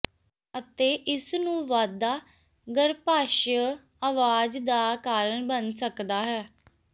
ਅਤੇ ਇਸ ਨੂੰ ਵਾਧਾ ਗਰੱਭਾਸ਼ਯ ਆਵਾਜ਼ ਦਾ ਕਾਰਨ ਬਣ ਸਕਦਾ ਹੈ